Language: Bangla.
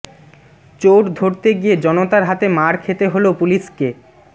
চোর ধরতে গিয়ে জনতার হাতে মার খেতে হল পুলিসকে